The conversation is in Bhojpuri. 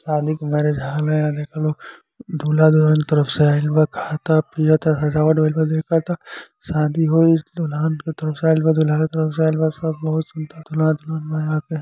शादी के मैरिज हॉल है। यहाँ देखा लोग दूल्हा दुल्हन के तरफ से आईल बा खात ता पियत ता सजावट भइल बा देखत ता शादी होई दूल्हन के तरफ से आईल बा दूल्हा के तरफ से आईल बा सब| बहुत सुन्दर दूल्हा दुल्हन बा यहाँ पे ।